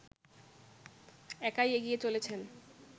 একাই এগিয়ে চলেছেন